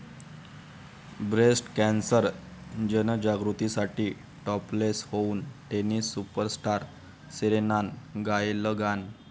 breast cancer जनजागृतीसाठी topless होऊन tennis superstar सेरेनानं गायलं गाणं